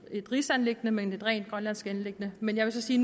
rigsanliggende men et rent grønlandsk anliggende men jeg vil så sige